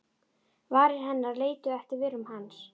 Varir hennar leituðu eftir vörum hans.